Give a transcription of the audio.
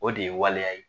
O de ye waleya ye